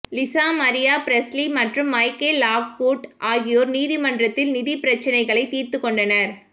Lisa Marie Presley மற்றும் Michael Lockwood ஆகியோர் நீதிமன்றத்தில் நிதி பிரச்சினைகளை தீர்த்துக் கொண்டனர்